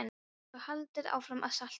Svo var haldið áfram að salta.